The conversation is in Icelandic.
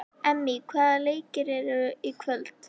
Emmý, hvaða leikir eru í kvöld?